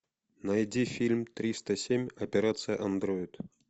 найди фильм триста семь операция андроид